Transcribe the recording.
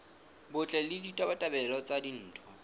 botle le ditabatabelo tsa ditho